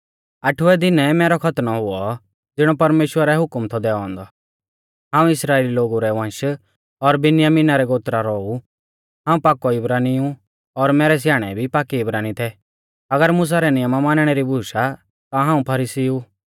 आठवै दिनै मैरौ खतनौ हुऔ ज़िणौ परमेश्‍वरै हुकम थौ दैऔ औन्दौ हाऊं इस्राइली लोगु रै वंश और बिन्यामिना रै गोत्रा रौ ऊ हाऊं पाकौ इब्रानी ऊ और मैरै स्याणै भी पाकै इब्रानी थै अगर मुसा रै नियमा मानणै री बूश आ ता हाऊं फरीसी ऊ